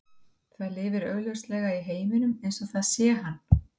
Það lifir augljóslega í heiminum eins og það sér hann.